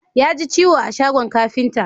Ya ji ciwo a shagon kafinta